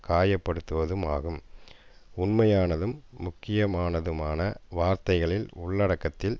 காயப்படுத்துவதுமாகும் உண்மையானதும் முக்கியமானதுமான வார்த்தைகளின் உள்ளடக்கத்தில்